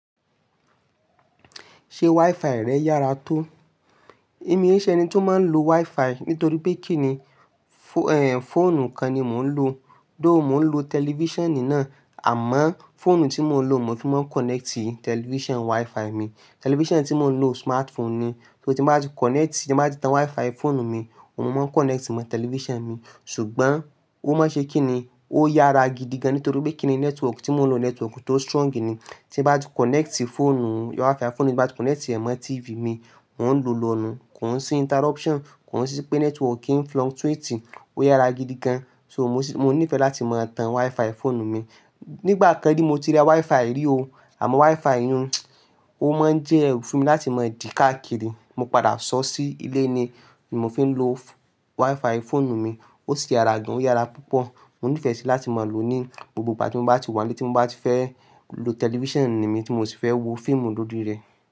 Ṣe Wi-Fi rẹ yára tó? Èmi e ṣe ẹni ti ó máa ń lo Wi-Fi nítorí pé kíni, fóònù kan ni mò ń lo. Do, mò ń lo tẹlifíṣànì náà àmọ́ fóònù tí mò ń lo mo fi máa ń kọ̀nẹ́ẹ̀tì tẹlifíṣàn Wi-Fi mi. Tẹlifíṣàn tí mò ń lo smartphone ni. So tí bá ti kọ̀nẹ́ẹ̀tì, tí bá ti tan Wi-Fi fóònù mi, òun mo máa ń kọ̀nẹ́ẹ̀tì mọ tẹlifíṣàn mi. Ṣùgbọ́n ó maá ṣe kí ni, ó yára gidi gan nítorí pé kí ni network tí mò ń lo network ti ó strong ni. Tí n bá ti kọ̀nẹ́ẹ̀tì fóònù Wi-Fi fóònù ti bá ti kọ̀nẹ́ẹ̀tì ẹ mọ TV mi, mò ń lo lọ́ nu. Kò n sí interruption, kò sí pé networki ń fluctuate. Ó yára gidi gan. Mo ní ìfẹ́ láti máa tan Wi-Fi fóònù mi. Nígbà kan ni mo ti rí Wi-Fi rí o, àmọ́ Wi-Fi iyún ó má ń jẹ ẹrú fún mi láti máa dì káàkiri. Mo padà sọ ọ́ sí ilé ni mo fi ń lo Wi-Fi fóònù mi. Ó si yára gan, ó yára púpọ̀. Mo ní ìfẹ́ síi láti máa lò ó ní gbogbo ìgbà tí mo bá ti wà nílé, tí mo bá ti fẹ́ lo tẹlifíṣànì mi tí mo sì fẹ́ wo fíìmù lorí rẹ̀.